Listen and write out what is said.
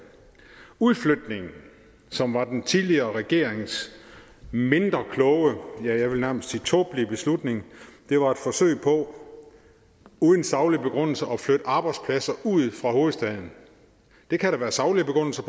udflytningen som var den tidligere regerings mindre kloge ja jeg vil nærmest sige tåbelig beslutning var et forsøg på uden saglig begrundelse at flytte arbejdspladser ud fra hovedstaden det kan der være saglige begrundelser